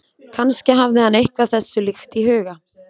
Kannski hafði hann eitthvað þessu líkt í huga.